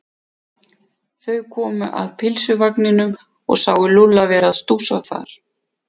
Þau komu að pylsuvagninum og sáu Lúlla vera að stússa þar.